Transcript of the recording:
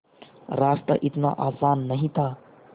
रास्ता इतना आसान नहीं था